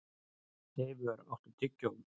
Eivör, áttu tyggjó?